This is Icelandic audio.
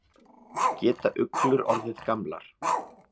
Hvað geta uglur orðið gamlar?